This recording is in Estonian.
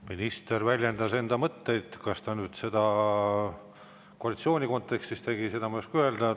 Minister väljendas enda mõtteid, kas ta nüüd seda koalitsiooni kontekstis tegi, ma ei oska öelda.